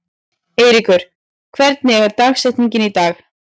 Eyríkur, hver er dagsetningin í dag?